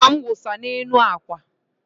akwa m wụsa n'elu akwa